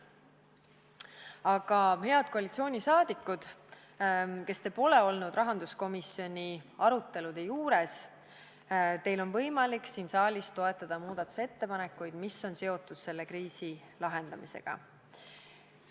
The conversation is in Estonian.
Aga, head koalitsioonisaadikud, kes te pole olnud rahanduskomisjoni arutelude juures, teil on võimalik siin saalis toetada muudatusettepanekuid, mis on seotud selle kriisi lahendamisega.